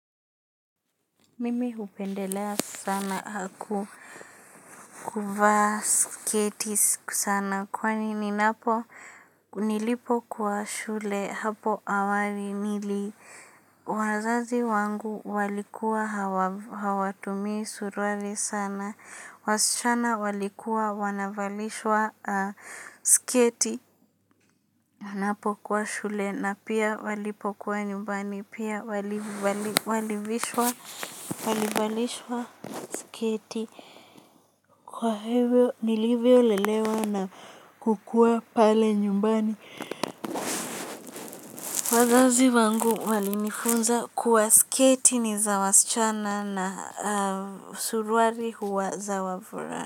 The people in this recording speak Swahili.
Mimi hupendelea sana haku, kuvaa sketi sana kwani ninapo, nilipo kuwa shule hapo awali nili, wazazi wangu walikuwa hawa, hawatumii suruari sana. Wasichana walikuwa wanavalishwa sketi, wanapokuwa shule na pia walipokuwa nyumbani pia walivishwa, walivalishwa, sketi. Kwa hivyo nilivyo lelewa na kukua pale nyumbani, wazazi wangu walinifunza kuwa sketi ni za wasichana na suruali huwa za wavulana.